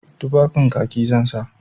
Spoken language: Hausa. Tufafin Kaki zan sa.